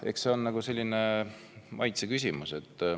Eks see on maitseküsimus.